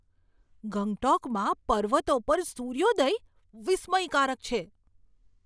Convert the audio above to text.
ગંગટોકમાં પર્વતો પર સૂર્યોદય વિસ્મયકારક છે.